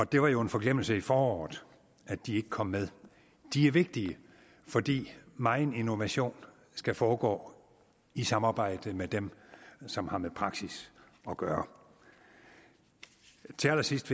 det var jo en forglemmelse i foråret at de ikke kom med de er vigtige fordi megen innovation skal foregå i samarbejde med dem som har med praksis at gøre til allersidst